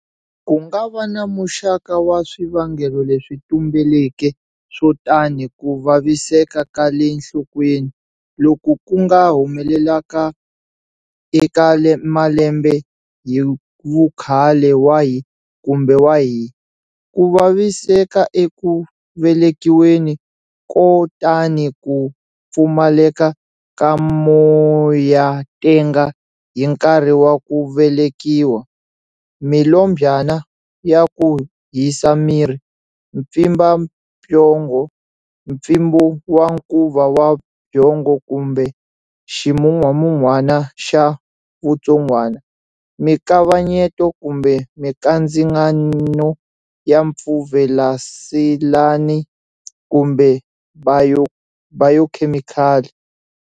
Ku nga va na muxaka wa swivangelo leswi tumbeleke swo tani ku vaviseka ka le nhlokweni, loku ku nga humelelaka eka malembe hi vukhale wahi kumbe wahi, ku vaviseka eku velekiweni, ko tani ku pfumaleka ka moyatenga hi nkarhi wa ku velekiwa, milombyana ya ku hisa miri, mpfimbabyongo, mpfimbo wa nkuva wa byongo kumbe ximungwamungwana xa vutsongwana, mikavanyeto kumbe mikandzingano ya mpfuvelaseleni kumbe bayokhemikali.